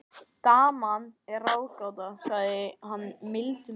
Daman er ráðgáta, sagði hann mildum rómi.